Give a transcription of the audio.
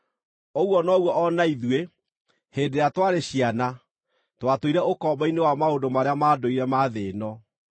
Ũguo noguo o na ithuĩ, hĩndĩ ĩrĩa twarĩ ciana, twatũire ũkombo-inĩ wa maũndũ marĩa ma ndũire ma thĩ ĩno.